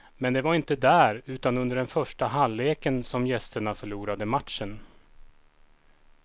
Men det var inte där, utan under den första halvleken, som gästerna förlorade matchen.